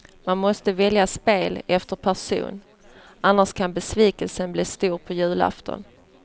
Man måste välja spel efter person, annars kan besvikelsen bli stor på julafton.